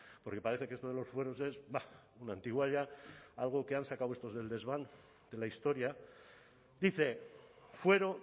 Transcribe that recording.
porque parece que esto de los fueros es una antigualla algo que han sacado estos del desván de la historia dice fuero